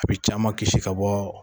A bɛ caman kisi ka bɔ